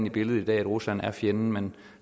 i billedet i dag at rusland er fjenden men